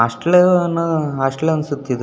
Hostel ಅನ್ನೋ hostel ಅನಿಸುತ್ತೆ ಇದು.